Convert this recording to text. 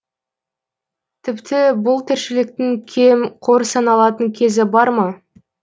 тіпті бұл тіршіліктің кем қор саналатын кезі бар ма